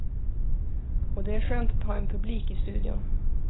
Och det är skönt att ha en publik i studion.